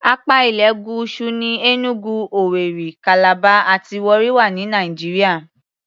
Apá ilẹ̀ Gúúsù ní Enugu, Owerri, Calabar àti Warri wà ní Nàìjíríà.